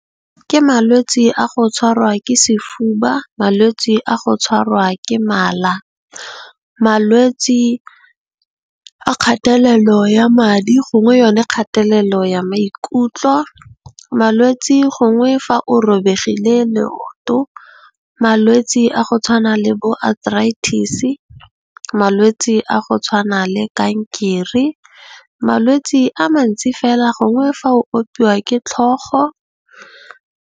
Ke malwetsi a go tshwarwa ke sefuba, malwetsi a go tshwarwa ke mala, malwetsi a kgatelelo ya madi, gongwe yone kgatelelo ya maikutlo, malwetsi gongwe fa o robegile leoto, malwetse a go tshwana le bo arthritis, malwetsi a go tshwana le kankere malwetsi a mantsi fela gongwe fa o opiwa ke tlhogo.